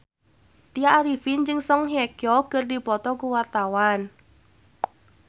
Tya Arifin jeung Song Hye Kyo keur dipoto ku wartawan